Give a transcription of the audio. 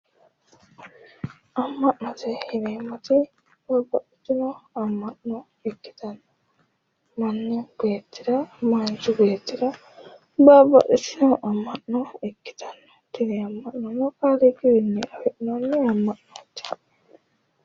Ama'note yineemoti babbaxitino ama'no ikkitana manichi beetira baliba'lisjaho ama'no ikkitanno tini ama'nono kaaliiqi wiini afi'nannite ama'nooti